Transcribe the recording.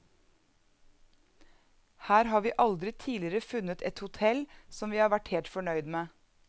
Her har vi aldri tidligere funnet et hotel som vi har vært helt fornøyd med.